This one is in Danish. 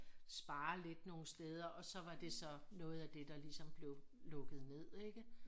Spare lidt nogle steder og så var det så noget af det der ligesom blev lukket ned ikke